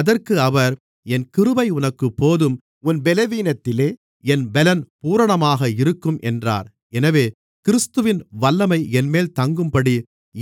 அதற்கு அவர் என் கிருபை உனக்குப் போதும் உன் பலவீனத்திலே என் பலம் பூரணமாக இருக்கும் என்றார் எனவே கிறிஸ்துவின் வல்லமை என்மேல் தங்கும்படி